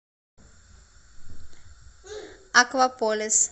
акваполис